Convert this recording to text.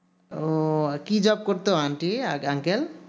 ও কি job করতো unty uncle